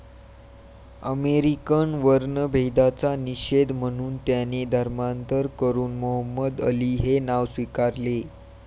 American वर्णभेदाचा निषेध म्हणून त्याने धर्मांतर करून मोहम्मद अली हे नाव स्वीकारले.